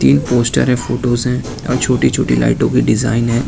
Poster है photos है और छोटी छोटी लाइटों के डिजाइन हैं।